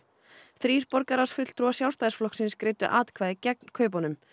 þrír borgarráðsfulltrúar Sjálfstæðisflokksins greiddu atkvæði gegn kaupunum